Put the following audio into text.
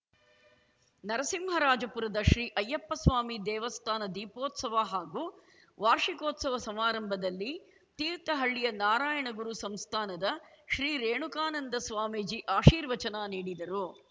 ನರಸಿಂಹರಾಜಪುರದ ಶ್ರೀ ಅಯ್ಯಪ್ಪಸ್ವಾಮಿ ದೇವಸ್ಥಾನ ದೀಪೋತ್ಸವ ಹಾಗೂ ವಾರ್ಷಿಕೋತ್ಸವ ಸಮಾರಂಭದಲ್ಲಿ ತೀರ್ಥಹಳ್ಳಿಯ ನಾರಾಯಣಗುರು ಸಂಸ್ಥಾನದ ಶ್ರೀ ರೇಣುಕಾನಂದ ಸ್ವಾಮೀಜಿ ಆಶೀರ್ವಚನ ನೀಡಿದರು